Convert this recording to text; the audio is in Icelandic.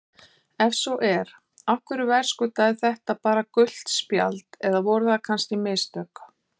Ef svo er, af hverju verðskuldaði þetta bara gult spjald eða voru það kannski mistök?